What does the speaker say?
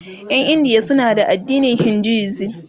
Ƴan India suna da addinin Hinduism